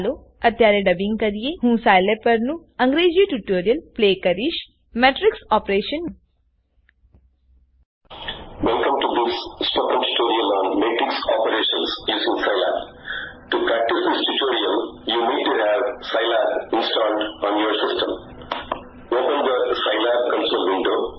ચાલો અત્યારે ડબિંગ કરીએહું સાયલેબ પરનું અંગ્રેજી ટ્યુટોરીયલ પ્લે કરીશ - matrixoperationડબ્લ્યુએમવી